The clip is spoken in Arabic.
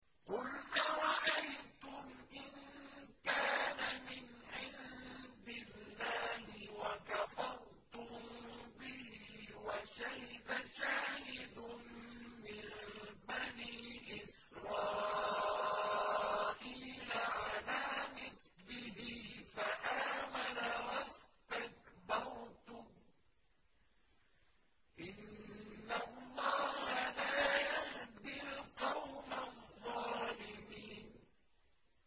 قُلْ أَرَأَيْتُمْ إِن كَانَ مِنْ عِندِ اللَّهِ وَكَفَرْتُم بِهِ وَشَهِدَ شَاهِدٌ مِّن بَنِي إِسْرَائِيلَ عَلَىٰ مِثْلِهِ فَآمَنَ وَاسْتَكْبَرْتُمْ ۖ إِنَّ اللَّهَ لَا يَهْدِي الْقَوْمَ الظَّالِمِينَ